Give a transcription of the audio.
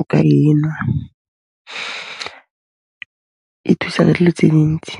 o ka e nwa. E thusa ka dilo tse dintsi.